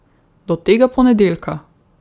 Do tega ponedeljka!